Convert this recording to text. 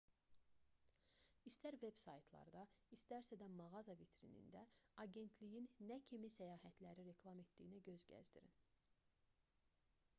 i̇stər veb-saytda istərsə də mağaza vitrinində agentliyin nə kimi səyahətləri reklam etdiyinə göz gəzdirin